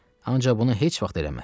Ancaq bunu heç vaxt eləməz.